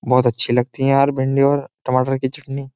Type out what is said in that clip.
बहुत अच्छी लगती है यार भिंडी और टमाटर की चटनी।